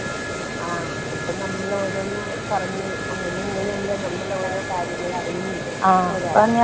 ആ അതിപ്പോ നമ്മൾ ഓരോന്ന് പറഞ്ഞ് അങ്ങനിം ഇങ്ങനിം അല്ലെ നമ്മൾ ഓരോ കാര്യങ്ങൾ അറിയുന്നത് *നോട്ട്‌ ക്ലിയർ*.